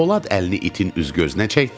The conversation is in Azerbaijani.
Polad əlini itin üz-gözünə çəkdi.